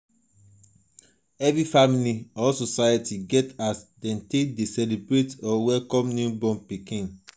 every family or society get as dem take de celebrate or welcome newborn pikin